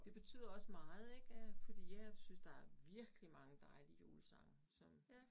Det betyder også meget ik øh fordi jeg synes der er virkelig mange dejlige julesange som